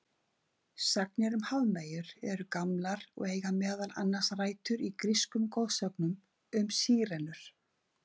Sagnir um hafmeyjar eru gamlar og eiga meðal annars rætur í grískum goðsögum um sírenur.